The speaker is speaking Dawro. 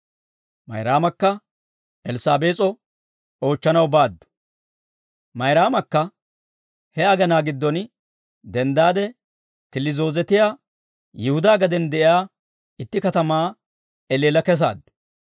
Mayraamakka he agenaa giddon denddaade killi zoozetiyaa Yihudaa gaden de'iyaa itti katamaa elleella kesaaddu.